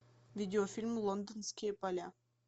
видеофильм лондонские поля